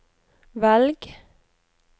velg